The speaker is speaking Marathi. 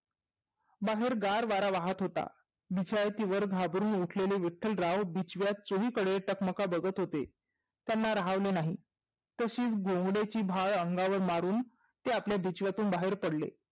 बाहेर गार वारा वाहत होता. बिछाईतीवर घाबरूण उठलेले विठ्ठलराव बिछव्यात चोहीकडे टकमक बघत होते. त्यांना राहवले नाही तशिच बोबडेची भार अंगावर मारून ते आपल्या बिछव्यातून बाहेर पडले.